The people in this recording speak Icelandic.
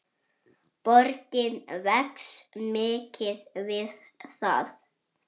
Borgin vex mikið við það.